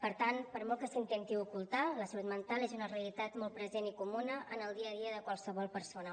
per tant per molt que s’intenti ocultar la salut mental és una realitat molt present i comuna en el dia a dia de qualsevol persona